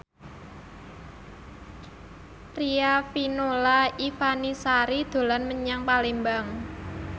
Riafinola Ifani Sari dolan menyang Palembang